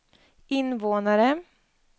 invånare